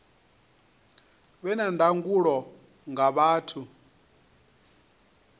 vhe na ndangulo nga vhathu